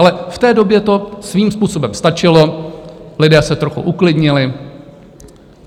Ale v té době to svým způsobem stačilo, lidé se trochu uklidnili.